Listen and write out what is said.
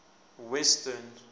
western